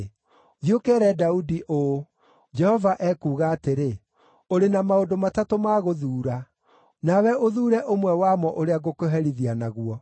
“Thiĩ ũkeere Daudi ũũ, ‘Jehova ekuuga atĩrĩ: Ũrĩ na maũndũ matatũ ma gũthuura. Nawe ũthuure ũmwe wamo ũrĩa ngũkũherithia naguo.’ ”